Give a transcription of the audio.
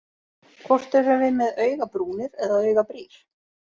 Hvort erum við með augabrúnir eða augabrýr?